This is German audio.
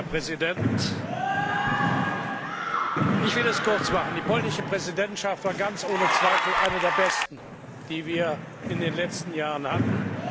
Herr Präsident! Ich will es kurz machen Die polnische Präsidentschaft war ganz ohne Zweifel eine der besten, die wir in den letzten Jahren hatten.